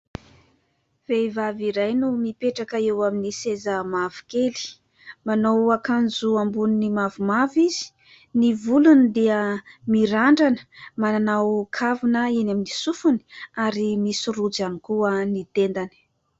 Vehivavy iray no mipetraka eo amin'ny seza mavokely, manao akanjo amboniny mavomavo izy, ny volony dia mirandrana, manao kavina eny amin'ny sofiny ary misy rojo ihany koa ny tendany.